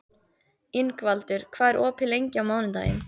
Ingvaldur, hvað er opið lengi á mánudaginn?